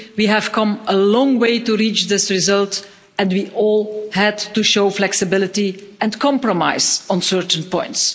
We have come a long way to reach this result and we all had to show flexibility and compromise on certain points.